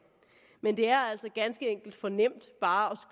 men det er altså ganske enkelt for nemt bare